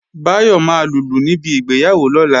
Báyọ̀ máa lùlù níbi ìgbéyàwó lọ́la